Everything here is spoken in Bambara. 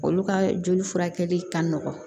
Olu ka joli furakɛli ka nɔgɔn